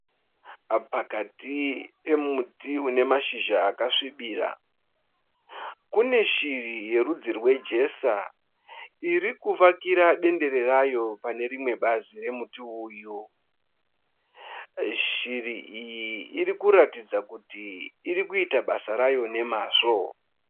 Pakati pemuti une mashizha akasvibira, kune shiri yerudzi rwe jesa irikuvakira dendere rayo pane rimwe bazi romuti uyu. Shiri iyi irikuratidza kuti irikuita basa rayo nemazvo